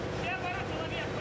Və boru çox böyükdür.